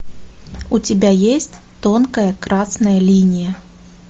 у тебя есть тонкая красная линия